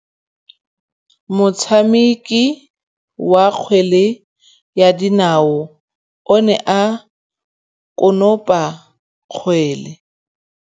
Motshameki wa kgwele ya dinaô o ne a konopa kgwele.